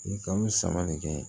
Kalo saba le kɛ